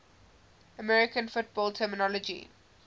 american football terminology